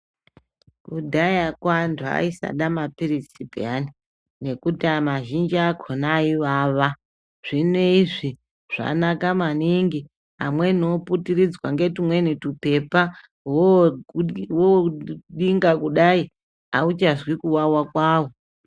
Kudhaya kwantu ayisada mapiritsi peyane, nekuti mazhinji akhona ayivava. Zvino, izvi zvanaka maningi. Amweni oputiridzwa ngetumweni tupepa wodinga kudayi hauchazvi kuwawa kwawo.